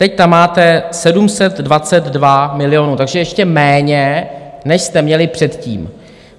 Teď tam máte 722 milionů, takže ještě méně, než jste měli předtím.